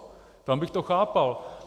Tam bych to chápal.